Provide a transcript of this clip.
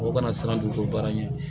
O kana siran dugukolo ɲɛ